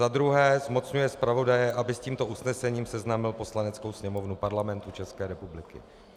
za druhé zmocňuje zpravodaje, aby s tímto usnesením seznámil Poslaneckou sněmovnu Parlamentu České republiky.